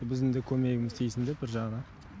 біздің де көмегіміз тисін деп бір жағынан